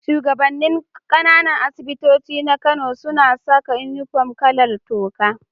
Shugaban nin Kananan asibitoci na Kano suna Saka inufom kalar toka